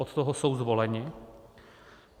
Od toho jsou zvoleni.